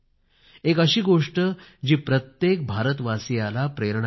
एक अशी गोष्ट जी प्रत्येक भारतवासीयाला प्रेरणा देईल